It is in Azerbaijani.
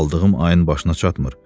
Aldığım ayın başına çatmır.